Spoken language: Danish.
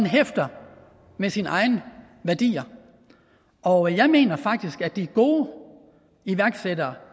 hæfter med sine egne værdier og jeg mener faktisk at de gode iværksættere